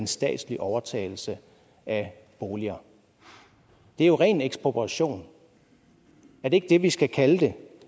statslig overtagelse af boliger det er jo ren ekspropriation er det ikke det vi skal kalde det